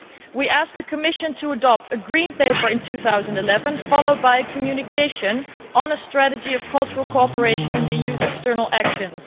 We ask the Commission to adopt a Green Paper in 2011, followed by a communication on a strategy for cultural cooperation in the EU's external actions.